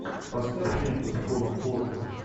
поставь ленту с полом уокером